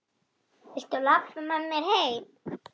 Viltu labba með mér heim!